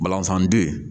Balanfan den